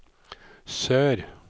sør